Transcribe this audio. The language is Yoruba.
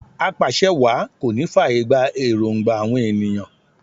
Apàṣẹwàá kò ní fàyè gba èròngba àwọn ènìyàn